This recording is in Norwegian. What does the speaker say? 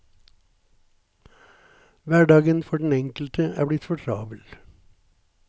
Hverdagen for den enkelte er blitt for travel.